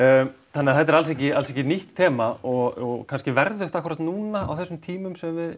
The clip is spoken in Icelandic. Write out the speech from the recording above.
þannig að þetta er alls ekki alls ekki nýtt þema og kannski verðugt akkúrat núna á þessum tímum sem við